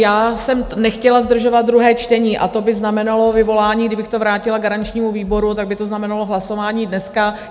Já jsem nechtěla zdržovat druhé čtení, a to by znamenalo vyvolání, kdybych to vrátila garančnímu výboru, tak by to znamenalo hlasování dneska.